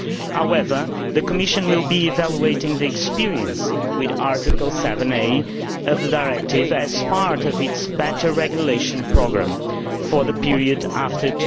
However, the Commission will be evaluating the experience with Article 7a of the Directive as part of its better regulation programme for the period after